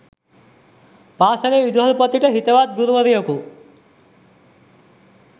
පාසලේ විදුහල්පතිට හිතවත් ගුරුවරයකු